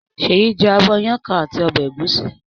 Ṣèyí jẹ abọ́ iyán kan àti ọbẹ̀ ẹ̀gúsí.